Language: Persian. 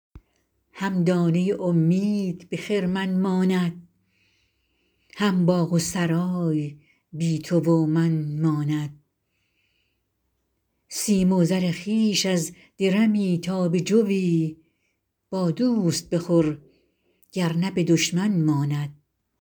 هم دانه امید به خرمن ماند هم باغ و سرای بی تو و من ماند سیم و زر خویش از درمی تا به جوی با دوست بخور گرنه به دشمن ماند